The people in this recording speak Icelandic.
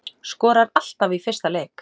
Skorar alltaf í fyrsta leik